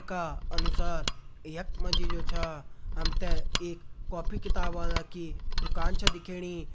का अनुसार यख मा जी जु छा हम ते एक कॉपी किताब वाला की दुकान छा दिखेणी।